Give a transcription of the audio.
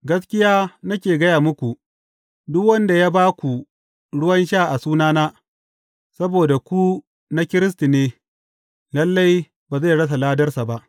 Gaskiya nake gaya muku, duk wanda ya ba ku ruwan sha a sunana, saboda ku na Kiristi ne, lalle, ba zai rasa ladarsa ba.